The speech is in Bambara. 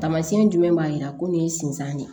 Taamasiyɛn jumɛn b'a yira ko nin ye sinzan ye